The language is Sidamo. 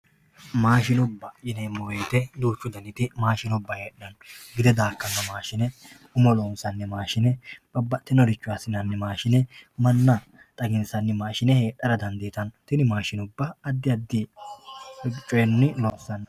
maashinubba yineemmo wote duuchu daniti maashinubba heedhara dandiitanno gide daakkanno maashine umo loonsanni maashi manna xaginsanni maashin heedhara dandiitanno tenne maashi addi addi coyiinni loonsanni.